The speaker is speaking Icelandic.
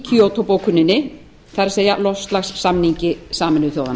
kyoto bókuninni það er loftslagssamningi sameinuðu þjóðanna